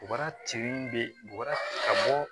U bara tin bɛ ka bɔ